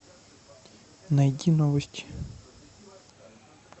найди новости